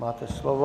Máte slovo.